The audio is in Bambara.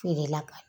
Feere la ka